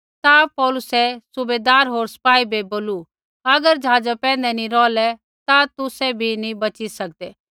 ता पौलुसै सूबैदारा होर सिपाही बै बोलू अगर ऐ ज़हाज़ा पैंधै नी रौहलै ता तुसै बी नी बच़ी सकदै